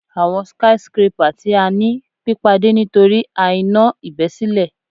Awọn skyscrapper ti a ni pipade nitori a iná ibesile